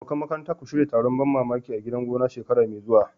Abokan makaranta, ku shirya taron ban mamaki a gidan gona shekara mai zuwa.